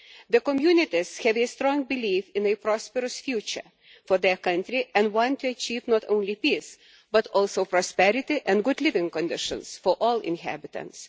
The communities have a strong belief in a prosperous future for their country and want to achieve not only peace but also prosperity and good living conditions for all inhabitants.